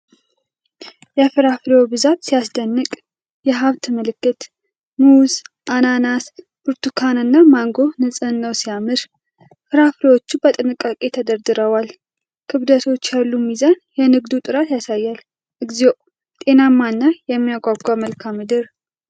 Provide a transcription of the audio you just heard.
የፍራፍሬው ብዛት ሲያስደንቅ! የሀብት ምልክት። ሙዝ፣ አናናስ፣ ብርቱካን እና ማንጎ ንጽሕናው ሲያምር! ፍሬዎቹ በጥንቃቄ ተደርድረዋል። ክብደቶች ያሉት ሚዛን የንግዱን ጥራት ያሳያል። እግዚኦ! ጤናማና የሚያጓጓ መልክዓ ምድር!